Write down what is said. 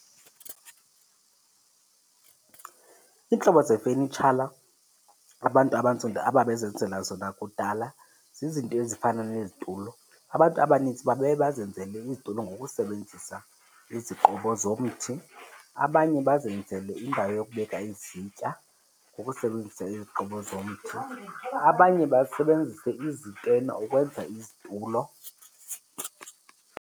Iintlobo zefenitshala abantu abantsundu ababezenzela zona kudala zizinto ezifana nezitulo. Abantu abanintsi babeye bazenzele izitulo ngokusebenzisa iziqobo zomthi. Abanye bazenzele indawo yokubeka izitya ngokusebenzisa iziqobo zomthi, abanye basebenzise izitena ukwenza izitulo.